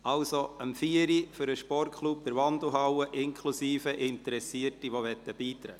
Also: Um 16 Uhr findet ein Treffen des Sportklubs statt, inklusive der Interessierten, welche beitreten möchten.